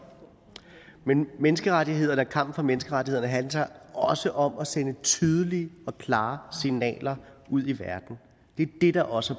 men menneskerettighederne og kampen for menneskerettighederne handler også om at sende tydelige og klare signaler ud i verden det er det der også